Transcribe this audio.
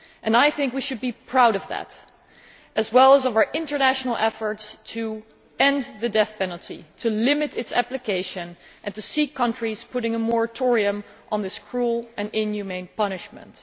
I think we should be proud of that, as well as of our international efforts to end the death penalty, to limit its application and to seek countries putting a moratorium on this cruel and inhumane punishment.